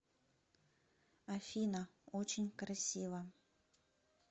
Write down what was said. афина очень красиво